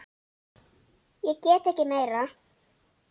Ég get ekki meira.